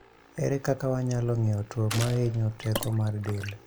Ere kaka wanyalo ng'eyo tuo mahinyo teko mar del?